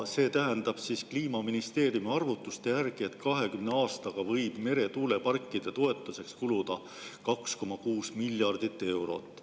See tähendab siis Kliimaministeeriumi arvutuste järgi, et 20 aastaga võib meretuuleparkide toetuseks kuluda 2,6 miljardit eurot.